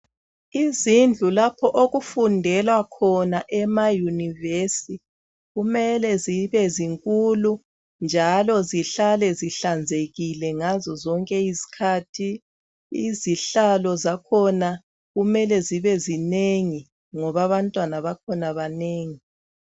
Izindlu lapho okufundelwa khona ema univesi, kumele zibe zinkulu njalo zihlale zihlanzekile ngazo zonke izikhathi. Izihlalo zakhona kumele zibe zinengi ngoba abantwana bakhona banengi